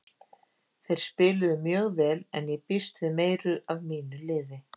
Þeir spiluðu mjög vel en ég býst við meiru af mínu liði.